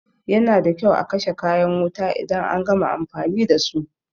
Yana da kyau a kashe kayan wuta idan an gama amfani dasu.